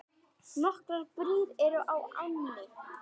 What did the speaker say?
Nokkrar brýr eru á ánni.